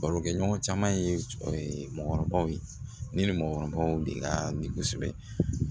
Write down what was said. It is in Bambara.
Barokɛɲɔgɔn caman ye mɔgɔkɔrɔbaw ye ne ni mɔgɔkɔrɔbaw de ka ni kosɛbɛ